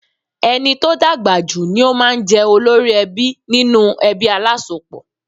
Ẹni tó dàgbà jù ni ó máa ń jẹ́ olórí ẹbí nínú ẹbí alásopọ̀.